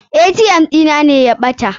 ATM ɗina ne ya ɓata.